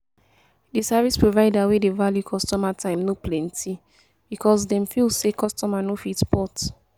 Di service provider wey dey value customer time no plenty, because dem feel sey customer no fit port